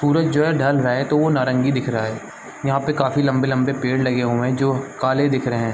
सूरज जो है ढल रहा है तो वो नारंगी दिख रहा है यहाँ पे काफी लंबे-लंबे पेड़ लगे हुए है जो काले दिख रहे है।